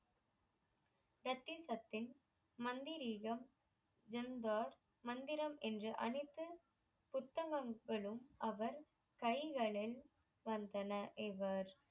மந்திரிகம் ஜங்பார் மந்திரம் என்ற அனைத்து புத்தங்களும் அவர் கைகளில் வந்தன இவர்